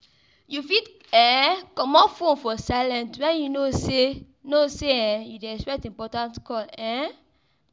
You fit um comot phone for silent when you know sey know sey um you dey expect important call um